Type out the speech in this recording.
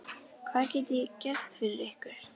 Hvað get ég gert fyrir ykkur?